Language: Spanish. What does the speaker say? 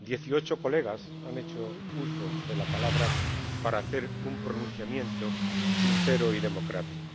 18 diputados han hecho uso de la palabra para hacer un pronunciamiento sincero y democrático.